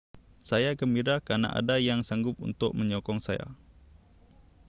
saya gembira kerana ada yang sanggup untuk menyokong saya